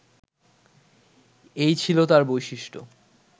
এই ছিল তাঁর বৈশিষ্ট্য